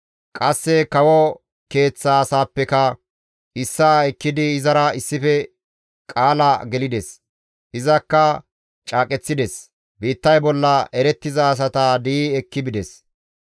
Qasse kawo keeththa asaappeka issaa ekkidi izara issife qaala gelides; izakka caaqeththides; biittay bolla erettiza asata di7i ekki bides.